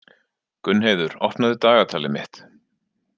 Gunnheiður, opnaðu dagatalið mitt.